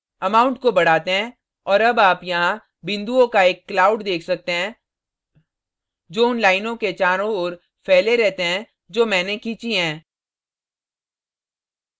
amount को बढ़ाते हैं और अब आप यहाँ बिन्दुओं का एक cloud let सकते हैं जो उन लाइनों के चारों ओर फैले रहते हैं जो मैंने खींची हैं